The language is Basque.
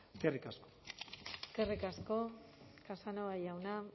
eskerrik asko eskerrik asko casanova jauna